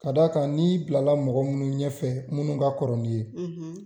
Ka d'a kan n'i bila la mɔgɔ minnu ɲɛfɛ minnu ka kɔrɔ nin ye,